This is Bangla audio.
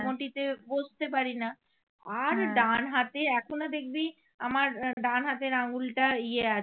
ডান হাতে এখনো দেখবি আমার ডান হাতের আঙ্গুলটা ইয়ে আছে